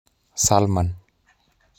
Salman